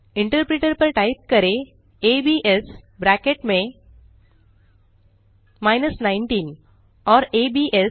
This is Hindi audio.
इंटरप्रेटर पर टाइप करें एबीएस और एबीएस